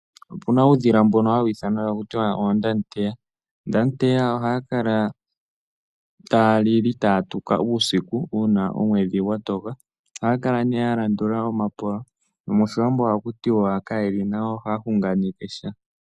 Opuna uudhila mbono hawithanwa takutiwa ondateya, ondateya ohakala talili tatuka usiku una omwedhi ngwatoka , ohakala ne yalandula omapola nomoshiwambo ohakutiwa kayeli nawa oha hunganekesha.